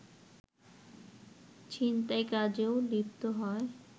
ছিনতাই কাজেও লিপ্ত হয়